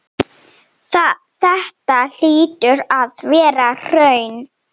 Þetta hlýtur að vera hraun.